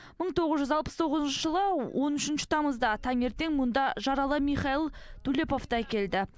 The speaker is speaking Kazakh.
мың тоғыз жүз алпыс тоғызыншы жылы он үшінші тамызда таңертең мұнда жаралы михаил дулеповті әкелді